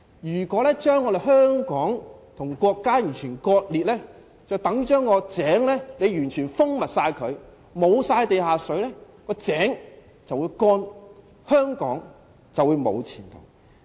如果將香港和國家完全割裂，等於把井完全密封，沒有地下水供應，井便會乾涸，香港便沒有前途。